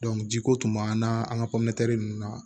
jiko tun b'an na an ka nunnu na